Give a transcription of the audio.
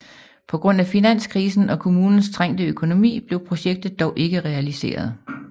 På grund af finanskrisen og kommunens trængte økonomi blev projektet dog ikke realiseret